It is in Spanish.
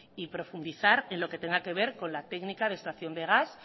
y profundizar en lo que tenga que ver con la técnica de extracción de gas